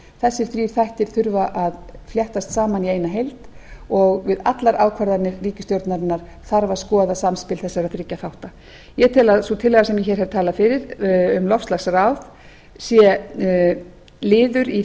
þessir þrír þættir þurfa að fléttast saman í eina heild og við allar ákvarðanir ríkisstjórnarinnar þarf að skoða samspil þessara þriggja þátta ég tel að sú tillaga sem ég hér hef talað fyrir um loftslagsráð sé liður í